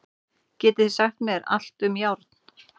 Getið þið sagt mér allt um járn?